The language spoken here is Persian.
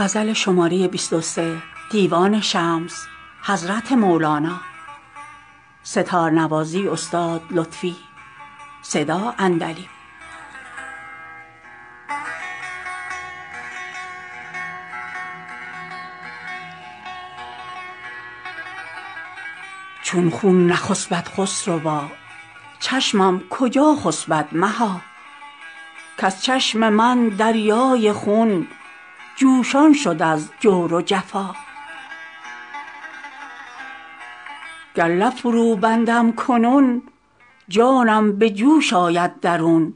چون خون نخسپد خسروا چشمم کجا خسپد مها کز چشم من دریای خون جوشان شد از جور و جفا گر لب فروبندم کنون جانم به جوش آید درون